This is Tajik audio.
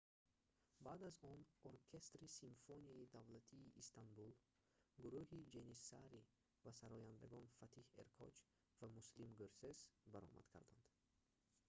баъд аз он оркестри симфонияи давлатии истанбул гурӯҳи ҷэниссари ва сарояндагон фатиҳ эркоч ва муслим гӯрсес баромад карданд